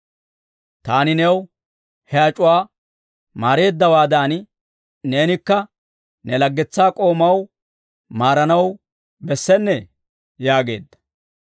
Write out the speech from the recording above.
Taani new he ac'uwaa maareeddawaadan, neenikka ne laggetsaa k'oomaw maaranaw bessennee?› yaageedda.